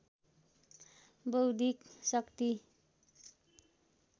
बौद्धिक शक्ति